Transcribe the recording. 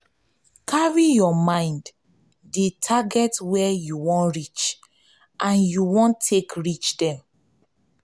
carry for mind the target wey you wan reach and how you wan take reach dem